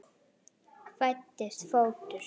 Fæddist fótur.